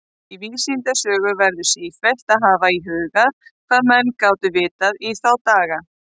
Í vísindasögu verður sífellt að hafa í huga, hvað menn gátu vitað í þá daga.